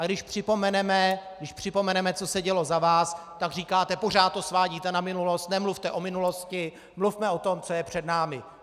A když připomeneme, co se dělo za vás, tak říkáte: pořád to svádíte na minulost, nemluvte o minulosti, mluvme o tom, co je před námi.